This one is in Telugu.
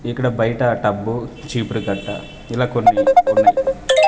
ఇక్కడ బయట టబ్బు చీపురు కట్ట ఇలా కొన్ని ఉన్నాయ్.